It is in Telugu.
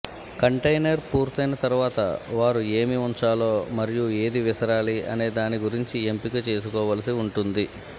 కంటైనర్ పూర్తయిన తర్వాత వారు ఏమి ఉంచాలో మరియు ఏది విసరాలి అనే దాని గురించి ఎంపిక చేసుకోవలసి ఉంటుంది